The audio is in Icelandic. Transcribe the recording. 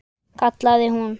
kallaði hún.